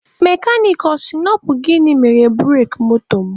Mekanik a sị na ọ bụ gịnị mere bureki moto m?